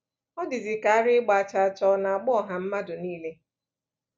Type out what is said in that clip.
O dịzịka ara ịgba chaa chaa ọ̀ ọ̀ na-agba ọha mmadụ niile.